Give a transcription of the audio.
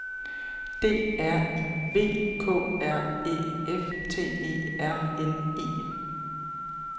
D R I V K R Æ F T E R N E